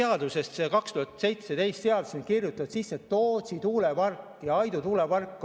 Aastal 2017 on seadusesse kirjutatud Tootsi tuulepark ja Aidu tuulepark.